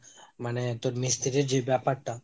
মানে তোর মিস্তিরির যে ব্যাপারটা